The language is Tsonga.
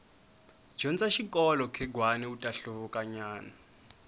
dyondza xikolo khegwani uta hluvuka nyana